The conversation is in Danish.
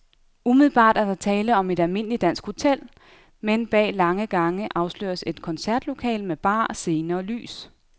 Umiddelbart er der tale om et almindeligt dansk hotel, men bag lange gange afsløres et koncertlokale med bar, scene og lys.